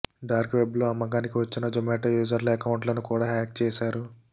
dark వెబ్లో అమ్మకానికి వచ్చిన జోమాటో యూజర్ల అకౌంట్లను కూడా హ్యాక్ చేశారు